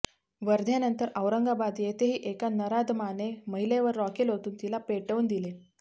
वर्ध्यानंतर औरंगाबाद येथेही एका नराधमाने महिलेवर रॉकेल ओतून तिला पेटवून दिले